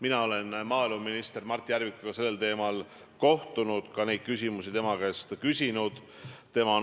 Aga see inimene on öelnud, et Eestis parasiteerib 300 000 tiblat, ja on muu hulgas nimetanud pagulasi inimrämpsuks ja mugavusprussakateks.